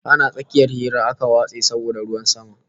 Ana tsakiyar hira aka watse saboda ruwan sama